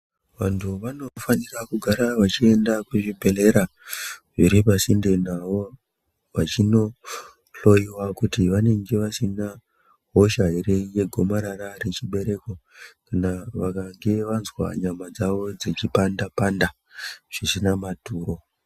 Vantu vano fanira kugara vachienda ku zvibhedhlera zviri pa sinde navo vachino hloyiwa kuti vanenge vasina hosha ere ye gomarara re chibereko kana vakange vazwa nyama dzavo dzichi panda panda zvisina maturo.